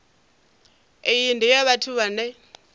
iyi ndi ya vhathu vhane